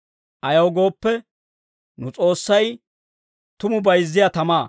Ayaw gooppe, nu S'oossay tumu bayizziyaa tamaa.